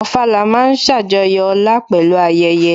Ofala ma ń ṣàjọyọ̀ ọlá pẹ̀lú ayẹyẹ